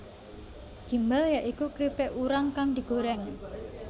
Gimbal ya iku kripik urang kang digoreng